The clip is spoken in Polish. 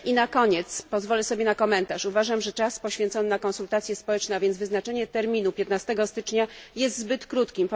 Na koniec pozwolę sobie na komentarz uważam, że czas poświęcony na konsultacje społeczne, a więc wyznaczenie terminu na dzień 15 stycznia, jest zbyt krótki.